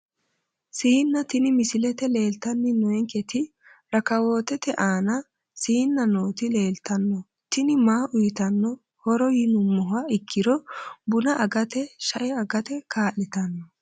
Siina tini misilete leeltani noonketi rakawootete aana siina nooti leltano tini maa uyitano horo yinumoha ikiro buna agate shae agate kaa`litano.